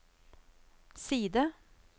side